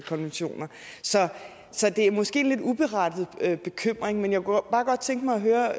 konventioner så det er måske en lidt uberettiget bekymring men jeg kunne bare godt tænke mig at høre